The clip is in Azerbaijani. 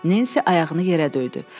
Nensi ayağını yerə döydü.